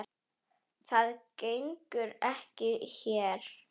Það gengur ekki hér.